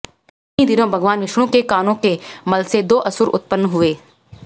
उन्हीं दिनों भगवान विष्णु के कानों के मलसे दो असुर उत्पन्न हुए